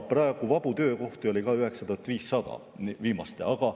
Praegu on vabu töökohti 9500.